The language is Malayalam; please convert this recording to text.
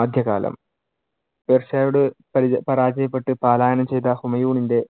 ആദ്യകാലം പേർഷ്യയോട് പരാ~ പരാജയപ്പെട്ട് പാലായനം ചെയ്ത ഹുമയൂണിന്‍റെ